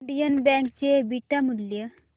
Indian bank चे beta मूल्य